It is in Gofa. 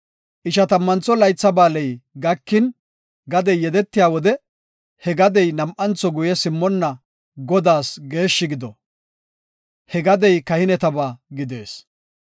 Ishatammantho Laytha Ba7aaley gakin gadey yedetiya wode he gadey nam7antho guye simmonna Godaas geeshshi gido; he gadey kahinetaba gidees.